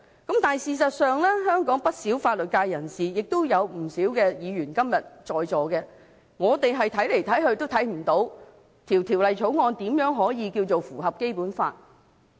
但是，事實上，香港不少法律界人士，今天也有不少在席議員，怎樣看也看不到《條例草案》如何能夠符合《基本法》。